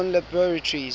bell telephone laboratories